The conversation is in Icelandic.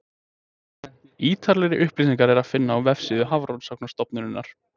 ítarlegri upplýsingar er að finna á vefsíðu hafrannsóknastofnunarinnar